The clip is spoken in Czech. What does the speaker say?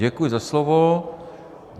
Děkuji za slovo.